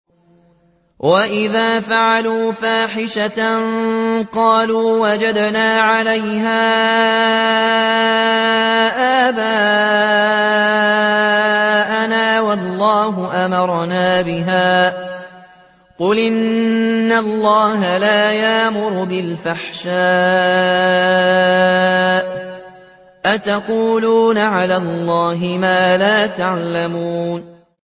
وَإِذَا فَعَلُوا فَاحِشَةً قَالُوا وَجَدْنَا عَلَيْهَا آبَاءَنَا وَاللَّهُ أَمَرَنَا بِهَا ۗ قُلْ إِنَّ اللَّهَ لَا يَأْمُرُ بِالْفَحْشَاءِ ۖ أَتَقُولُونَ عَلَى اللَّهِ مَا لَا تَعْلَمُونَ